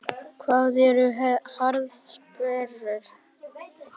Hvað eru harðsperrur?